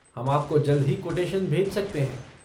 हम आपको जल्द ही कोटेशन भेज सकते हैं।